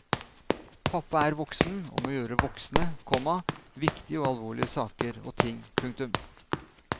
Pappa er voksen og må gjøre voksne, komma viktige og alvorlige saker og ting. punktum